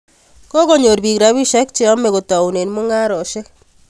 Kokonyor piik rapisyek che yamei kotoune mung'aresyek